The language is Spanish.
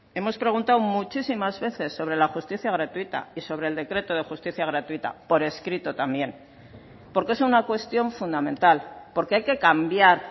hemos preguntado muchísimas veces sobre la justicia gratuita y sobre el decreto de justicia gratuita por escrito también porque es una cuestión fundamental porque hay que cambiar